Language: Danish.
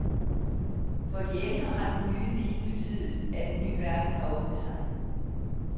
For de ældre har den nye viden betydet, at en ny verden har åbnet sig.